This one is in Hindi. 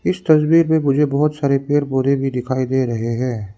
इस तस्वीर में मुझे बहुत सारे पेड़ पौधे भी दिखाई दे रहे हैं।